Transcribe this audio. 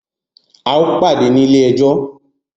A o pàdé ní ilé ẹjọ́!